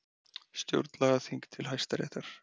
Stjórnlagaþing til Hæstaréttar